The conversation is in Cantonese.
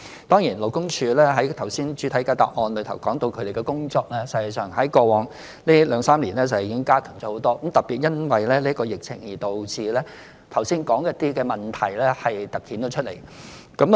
當然，如剛才主體答覆提及，勞工處的工作實際上在過往兩三年已經大幅加強。特別因為這疫情，導致剛才提到的一些問題突顯出來。